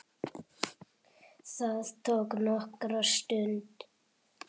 Það tók nokkra stund.